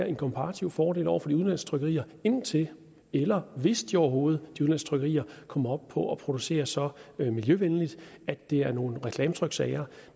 en komparativ fordel over for de udenlandske trykkerier indtil eller hvis de overhovedet kommer op på at producere så miljøvenligt at det er nogle reklametryksager